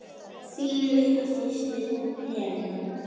Þín litla systir, Helena.